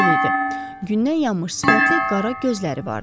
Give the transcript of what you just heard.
Gündən yanmış sifəti, qara gözləri vardı.